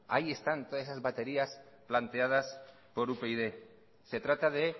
ahí están todas esas baterías planteadas por upyd se trata de